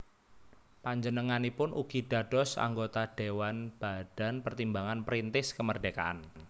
Panjenenganipun ugi dados anggota Dhéwan Badan Pertimbangan Perintis Kemerdekaan